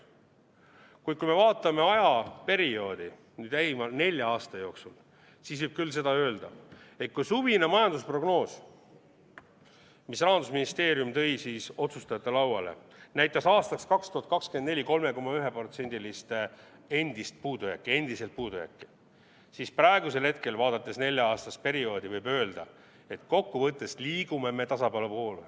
Kuid kui me vaatame ajaperioodi lähima nelja aasta jooksul, siis võib küll öelda, et kui suvine majandusprognoos, mille Rahandusministeerium tõi otsustajate lauale, näitas 2024. aastaks 3,1%-list endiselt puudujääki, siis praegusel hetkel, vaadates nelja-aastast perioodi, võib öelda, et kokkuvõttes liigume tasakaalu poole.